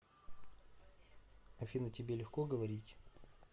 афина тебе легко говорить